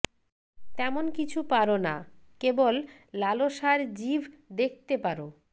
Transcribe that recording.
তেমন কিছু পারো না কেবল লালসার জিভ দেখতে পারো